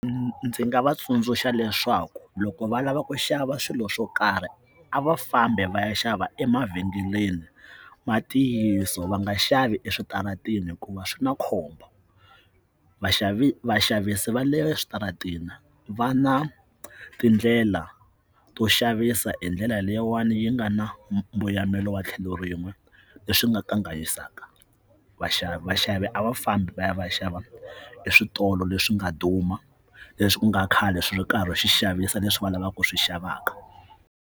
Ndzi nga va tsundzuxa leswaku loko va lava ku xava swilo swo karhi a va fambi va ya xava emavhengeleni matiyiso va nga xavi eswitarateni hikuva swi na khombo vaxavi vaxavisi va le eswitarateni va na tindlela to xavisa hi ndlela leyiwani yi nga na mbuyamelo wa tlhelo rin'we leswi nga kanganyisaka vaxavi vaxavi a va fambi va ya va ya xava eswitolo leswi nga duma leswi ku nga khale swi ri karhi u xavisa leswi va lavaka ku swi xavaka.